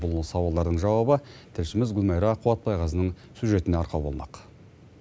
бұл сауалдардың жауабы тілшіміз гүлмайра қуатбайқызының сюжетіне арқау болмақ